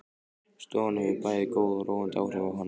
Stofan hefur bæði góð og róandi áhrif á hana.